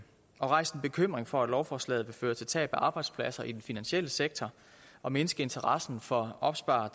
er rejst en bekymring for at lovforslaget vil føre til tab af arbejdspladser i den finansielle sektor og mindske interessen for at opspare